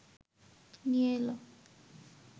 নিয়ে এল